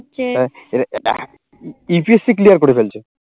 PPSC clear করে ফেলছো